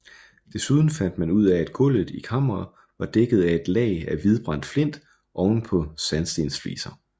Desuden fandt man ud af at gulvet i kammeret var dækket af et lag af hvidbrændt flint oven på sandstensfliser